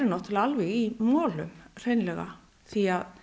alveg í molum hreinlega því